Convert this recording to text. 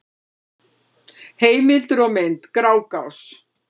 Heimildir og mynd: Grágás.